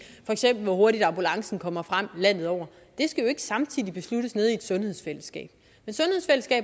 for eksempel hvor hurtigt ambulancen kommer frem landet over det skal jo ikke samtidig besluttes nede i et sundhedsfællesskab